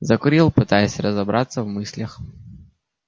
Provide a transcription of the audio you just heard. закурил пытаясь разобраться в мыслях